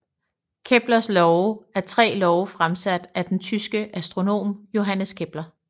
Keplers love er tre love fremsat af den tyske astronom Johannes Kepler